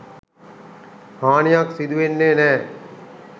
හානියක් සිදුවෙන්නේ නෑ.